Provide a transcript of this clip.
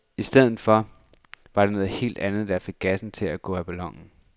I stedet var det noget helt andet, der fik gassen til at gå af ballonen.